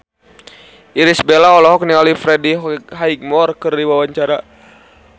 Irish Bella olohok ningali Freddie Highmore keur diwawancara